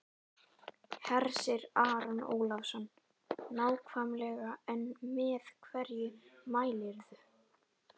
Hersir Aron Ólafsson: Nákvæmlega en með hverju mælirðu?